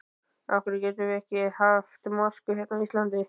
Af hverjum getum við ekki haft mosku hérna á Íslandi?